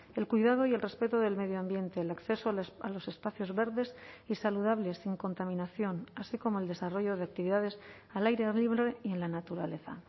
el cuidado y el respeto del medio ambiente el acceso a los espacios verdes y saludables sin contaminación así como el desarrollo de actividades al aire libre y en la naturaleza